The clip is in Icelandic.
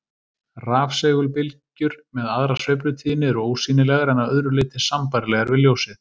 Rafsegulbylgjur með aðra sveiflutíðni eru ósýnilegar en að öðru leyti sambærilegar við ljósið.